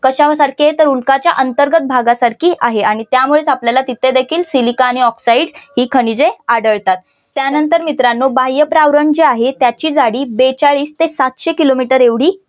कशासारखी आहे तर उल्काच्या अंतर्गत भागासारखी आहे आणि त्यामुळेच आपल्याला तिथे देखील सिलिका आणि ऑक्साईड ही खनिजे आढळतात त्यानंतर मित्रांनो बाह्य प्रावरण जे आहे त्याची जाडी बेचाळीस ते सातशे किलो मीटर एवढी